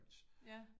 Ja